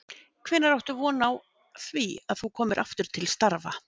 Hvenær áttu von á því að þú komir aftur til starfa?